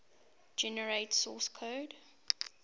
generate source code